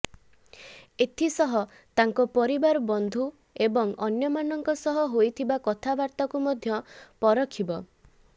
ଏଥିସହ ତାଙ୍କ ପରିବାର ବନ୍ଧୁ ଏବଂ ଅନ୍ୟମାନଙ୍କ ସହ ହୋଇଥିବା କଥାବାର୍ତ୍ତାକୁ ମଧ୍ୟ ପରଖିବ